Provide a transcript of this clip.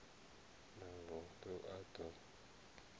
mavund u a d o